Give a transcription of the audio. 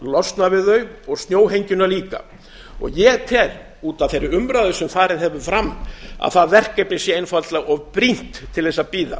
losna við þau og snjóhengjuna líka og ég tel út af þeirri umræðu sem farið hefur fram að það verkefni sé einfaldlega of brýnt til þess að bíða